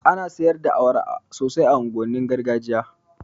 Ana siyar da awara sosai a unguwannin gargajiya